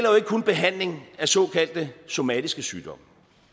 kun behandling af såkaldte somatiske sygdomme